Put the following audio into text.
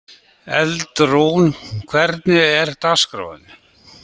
Eldrún, hvernig er dagskráin?